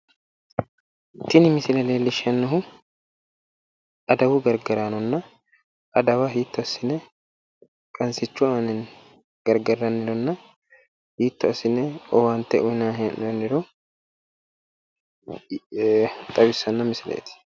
Tini misile leellishannohu adawu gargaraanonna adaga hiitto assi'ne qansichu aaninni gargarrannirona hiitto asine owaante uyiinani hee'nooniro leellishano misileeti.